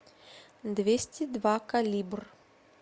двести два калибр